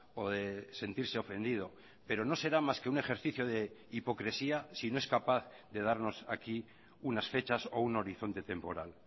o de sentirse ofendido pero no será más que un ejercicio de hipocresía si no es capaz de darnos aquí unas fechas o un horizonte temporal